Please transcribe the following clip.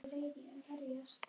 Hvernig er liðið ykkar samsett?